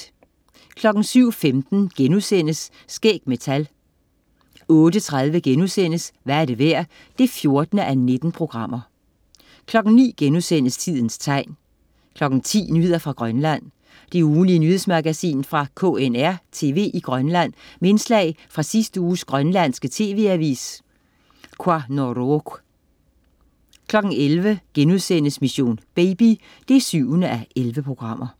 07.15 Skæg med tal* 08.30 Hvad er det værd? 14:19* 09.00 Tidens Tegn* 10.00 Nyheder fra Grønland. Det ugentlige nyhedsmagasin fra KNR-TV i Grønland med indslag fra sidste uges grønlandske tv-avis, Qanorooq 11.00 Mission: Baby 7:11*